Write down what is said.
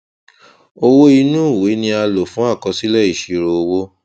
owó inú ìwé ni a lò fún àkọsílẹ ìṣirò owó